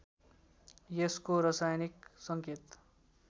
यसको रसायनिक सङ्केत